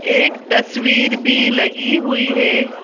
एक तस्वीर भी लगी हुई हैं।